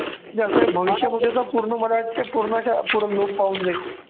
याच भविष्यामध्ये जर पूर्ण मला वाटतंय पूर्णच्या पूर्ण लोभ पाऊन जाईल.